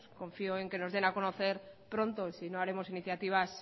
confío en que nos den a conocer pronto sino haremos iniciativas